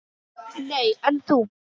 Nei, en þú?